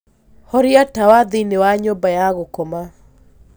horĩa tawa thĩĩni wa nyumba ya gũkoma